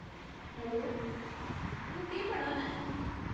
Hello, तूं केह् पढ़ा ना ऐं?